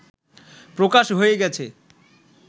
প্রকাশ হয়ে গেছে